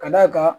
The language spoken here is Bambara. Ka d'a kan